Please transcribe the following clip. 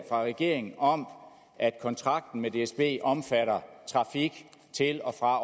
fra regeringen om at kontrakten med dsb omfatter trafik til og fra